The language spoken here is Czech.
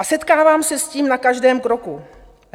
A setkávám se s tím na každém kroku.